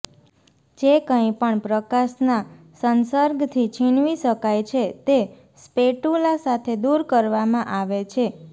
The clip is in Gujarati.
જે કંઇપણ પ્રકાશના સંસર્ગથી છીનવી શકાય છે તે સ્પેટુલા સાથે દૂર કરવામાં આવે છે